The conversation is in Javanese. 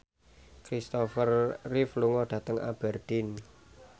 Christopher Reeve lunga dhateng Aberdeen